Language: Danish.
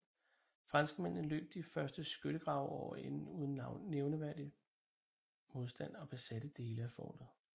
Franskmændene løb de første skyttegrave over ende uden nævneværdig modstand og besatte dele af fortet